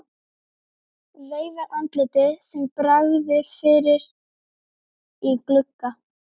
Veifar andliti sem bregður fyrir í glugga.